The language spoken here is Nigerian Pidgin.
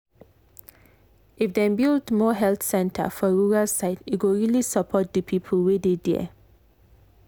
if dem build more health center for rural side e go really support the people wey dey there.